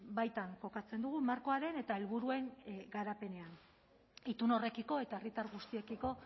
baitan kokatzen dugu markoaren eta helburuen garapenean itun horrekiko eta herritar guztiekiko